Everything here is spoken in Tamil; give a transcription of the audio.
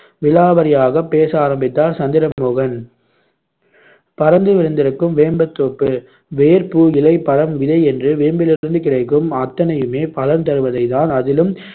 விலாவரியாக பேச ஆரம்பித்தார் சந்திரமோகன் பரந்து விரிந்திருக்கும் வேம்புத்தோப்பு வேர், பூ, இலை, பழம், விதை என்று வேம்பிலிருந்து கிடைக்கும் அத்தனையுமே பலன் தருபவைதான் அதிலும்